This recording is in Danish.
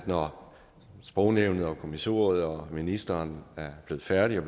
når sprognævnet og kommissoriet og ministeren er blevet færdige og